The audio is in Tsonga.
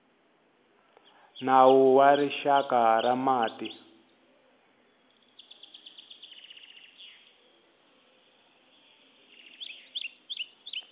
nawu wa rixaka wa mati